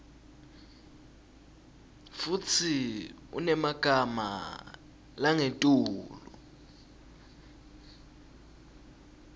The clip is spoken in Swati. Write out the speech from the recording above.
futsi unemagama langetulu